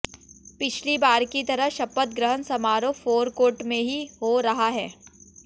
पिछली बार की तरह शपथ ग्रहण समारोह फोरकोर्ट में ही हो रहा है